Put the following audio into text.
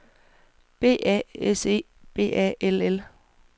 B A S E B A L L